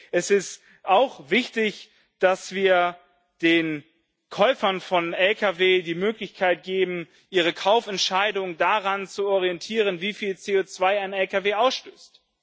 Es ist auch wichtig, dass wir den Käufern von Lkw die Möglichkeit geben, ihre Kaufentscheidung daran zu orientieren, wie viel CO2 ein Lkw ausstößt.